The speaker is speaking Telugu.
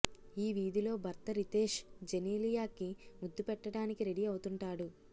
ఈ వీధిలో భర్త రితేష్ జెనీలియా కి ముద్దు పెట్టడానికి రెడీ అవుతుంటాడు